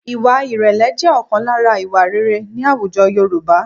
Ìwà ìrẹ̀lẹ̀ jẹ́ ọ̀kan lára ìwà rere ní àwùjọ Yorùbá